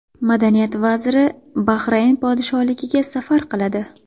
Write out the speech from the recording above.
Madaniyat vaziri Bahrayn podshohligiga safar qiladi.